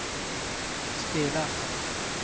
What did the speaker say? spelas